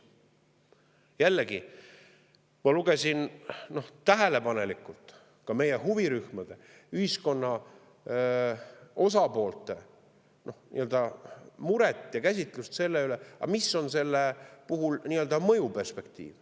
Jällegi, ma lugesin tähelepanelikult ka meie huvirühmade, ühiskonna osapoolte muret selle üle ja käsitlust selle kohta, mis on selle puhul nii-öelda mõjuperspektiiv.